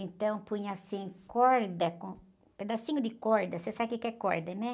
Então, punha assim, corda, com pedacinho de corda, você sabe o quê que é corda, né?